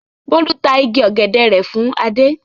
Bólú ta igi ọ̀gẹ̀dẹ̀ rẹ̀ fún Adé.